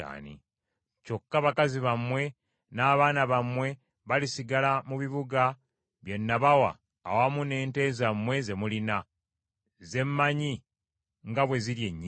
Kyokka, bakazi bammwe, n’abaana bammwe balisigala mu bibuga bye nabawa awamu n’ente zammwe ze mulina, ze mmanyi nga bwe ziri ennyingi,